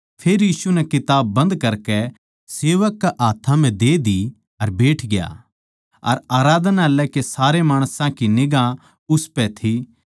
फेर यीशु नै किताब बन्द करकै सेवक कै हाथ्थां म्ह दे दी अर बैठग्या अर आराधनालय के सारे माणसां की निगांह उसपै थी